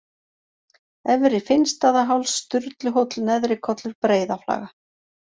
Efri-Finnstaðaháls, Sturluhóll, Neðri-Kollur, Breiðaflaga